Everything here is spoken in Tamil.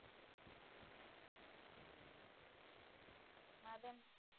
மதம்